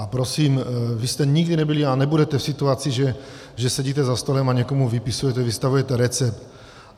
A prosím, vy jste nikdy nebyli a nebudete v situaci, že sedíte za stolem a někomu vypisujete, vystavujete recept.